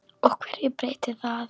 Og hverju breytir það?